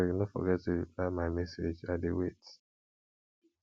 abeg no forget to reply my message i dey wait